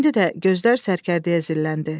İndi də gözlər sərkərdəyə zilləndi.